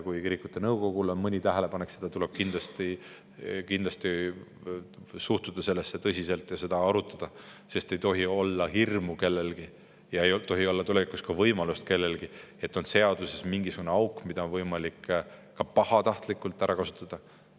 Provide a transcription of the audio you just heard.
Kui kirikute nõukogul on mõni tähelepanek, siis tuleb kindlasti suhtuda sellesse tõsiselt ja seda arutada, sest kellelgi ei tohi olla hirmu ega tulevikus ka võimalust, et seaduses on mingisugune auk, mida saaks pahatahtlikult ära kasutada.